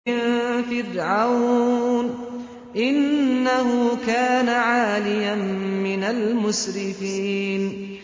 مِن فِرْعَوْنَ ۚ إِنَّهُ كَانَ عَالِيًا مِّنَ الْمُسْرِفِينَ